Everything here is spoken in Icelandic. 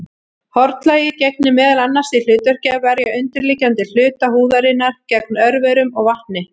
Hornlagið gegnir meðal annars því hlutverki að verja undirliggjandi hluta húðarinnar gegn örverum og vatni.